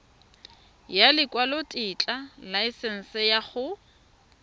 ya lekwalotetla laesense ya go